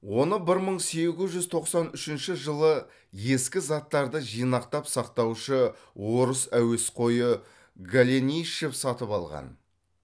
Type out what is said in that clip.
оны бір мың сегіз жүз тоқсан үшінші жылы ескі заттарды жинақтап сақтаушы орыс әуесқойы голенищев сатып алған